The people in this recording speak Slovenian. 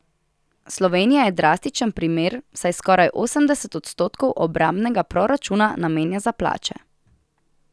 Slovenija je drastičen primer, saj skoraj osemdeset odstotkov obrambnega proračuna namenja za plače.